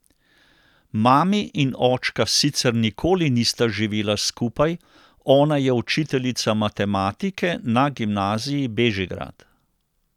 Mami in očka sicer nikoli nista živela skupaj, ona je učiteljica matematike na Gimnaziji Bežigrad.